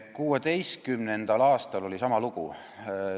2016. aastal oli sama lugu.